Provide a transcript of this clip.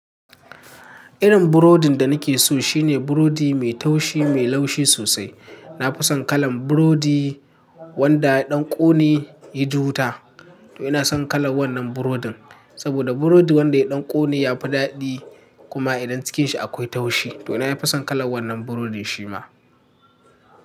Irin burodin da nake so shine burodi mai taushi mai laushi sosai. Na fi son kalan burodi wanda ya ɗan ƙone, yaji wuta. To ina son kalan wannan burodin saboda burodi wanda ya ɗan ƙone ya fi daɗi kuma idan cikinshi akwai taushi. To nafi son kalan wannan burodin shima.